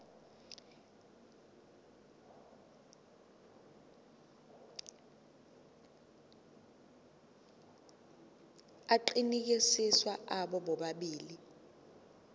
aqinisekisiwe abo bobabili